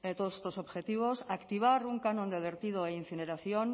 todos estos objetivos activar un canon de vertido e incineración